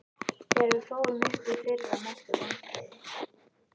Þegar við fórum upp í fyrra Mestu vonbrigði?